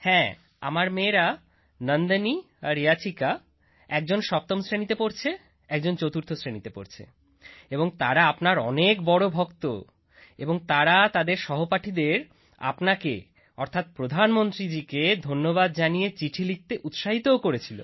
হ্যাঁ আমার মেয়েরা নন্দনী আর ইয়াচিকা একজন সপ্তম শ্রেণীতে পড়ছে একজন চতুর্থ শ্রেণীতে পড়ছে এবং তারা আপনার অনেক বড় ভক্ত এবং তারা তাদের সহপাঠীদের আপনাকে অর্থাৎ প্রধানমন্ত্রীকে ধন্যবাদ জানিয়ে চিঠি লিখতে উৎসাহিতও করেছিল